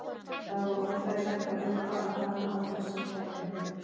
Það var óþægilegt að þurfa að fara án þess að kveðja hann.